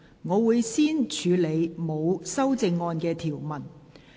我會先處理沒有修正案的條文。